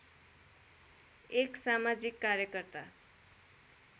एक समाजिक कार्यकर्ता